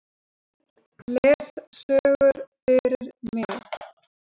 Les sögur fyrir mig.